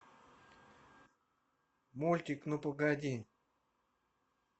мультик ну погоди